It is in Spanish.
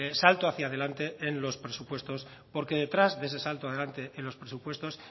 salto hacia adelante en los presupuestos porque detrás de ese salto adelante en los presupuestos